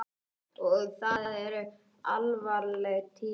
Og það eru alvarleg tíðindi.